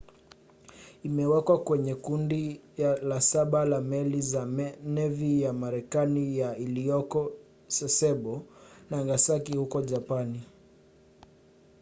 imewekwa kwenye kundi la saba la meli za nevi ya marekani ya iliyoko sasebo nagasaki huko japani